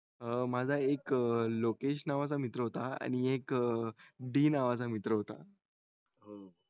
अं माझा एक लोकेश नावाचा मित्र होता आणि एक डी नावाचा मित्र होता अं